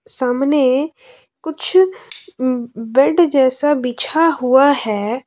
सामने कुछ बेड जैसा बिछा हुआ है।